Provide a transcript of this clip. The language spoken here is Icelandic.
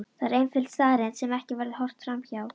Það er einföld staðreynd sem ekki verður horft fram hjá.